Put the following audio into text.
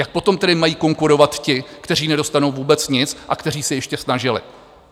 Jak potom tedy mají konkurovat ti, kteří nedostanou vůbec nic a kteří se ještě snažili?